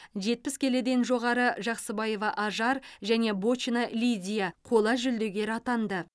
жетпіс келіден жоғары жақсыбаева ажар және бочина лидия қола жүлдегер атанды